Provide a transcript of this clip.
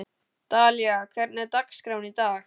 Dalía, hvernig er dagskráin í dag?